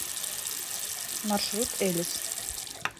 маршрут элис